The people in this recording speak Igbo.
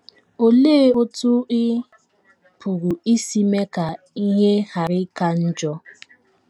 Olee otú ị pụrụ isi mee ka ihe ghara ịka njọ?